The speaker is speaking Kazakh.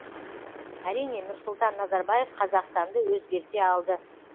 әрине нұрсұлтан назарбаев қазақстанды өзгерте алды